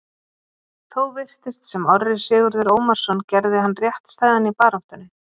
Þó virtist sem Orri Sigurður Ómarsson gerði hann réttstæðan í baráttunni.